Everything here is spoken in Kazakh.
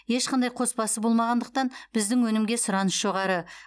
ешқандай қоспасы болмағандықтан біздің өнімге сұраныс жоғары